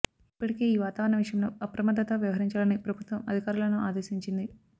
ఇప్పటికే ఈ వాతావరణ విషయంలో అప్రమత్తతతో వ్యవహరించాలని ప్రభుత్వం అధికారులను ఆదేశించింది